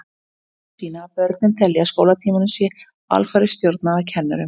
Niðurstöður sýna að börnin telja að skólatímanum sé alfarið stjórnað af kennurunum.